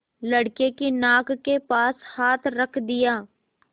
लड़के की नाक के पास हाथ रख दिया